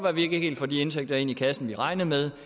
at vi ikke helt får de indtægter i kassen vi regnede med